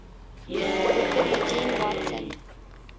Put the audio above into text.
dr eugene watson